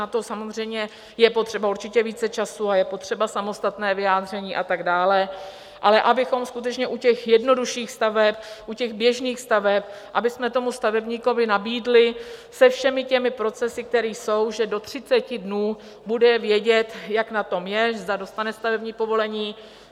Na to samozřejmě je potřeba určitě více času a je potřeba samostatné vyjádření a tak dále, ale abychom skutečně u těch jednodušších staveb, u těch běžných staveb, abychom tomu stavebníkovi nabídli se všemi těmi procesy, které jsou, že do 30 dnů bude vědět, jak na tom je, zda dostane stavební povolení.